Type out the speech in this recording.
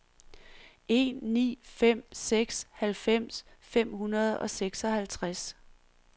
en ni fem seks halvfems fem hundrede og seksoghalvtreds